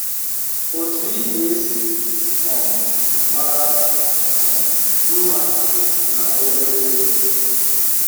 Otu ị ga-esi um mara um mma na obere ego